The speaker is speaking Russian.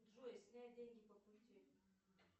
джой снять деньги по пути